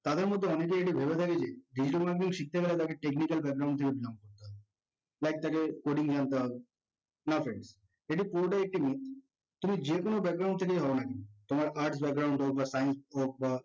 তাদের মধ্যে অনেকেই এটা ভেবে থাকে যে digital marketing শিখতে নাকি technical হবে life তাকে code এ নিয়ে আন্তে হবে না friends তুমি যেকোনো থেকে হও না কেন তোমার arts background science হোক বা